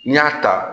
N'i y'a ta